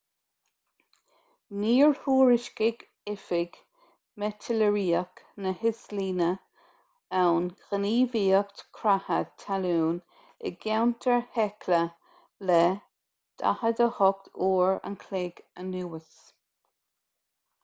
níor thuairiscigh oifig meitéareolaíoch na híoslainne aon ghníomhaíocht creatha talún i gceantar hekla le 48 uair an chloig anuas